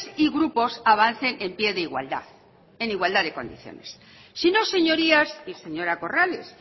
y grupos avancen en pie de igualdad en igualdad de condiciones sino señorías y señora corrales